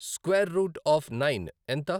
Square root of nine ఎంత?